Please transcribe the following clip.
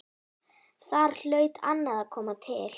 Þar hlaut annað að koma til.